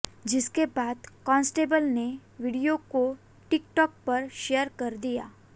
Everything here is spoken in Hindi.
जिसके बाद कांस्टेबल ने वीडियो को टिक टॉक पर शेयर कर दिया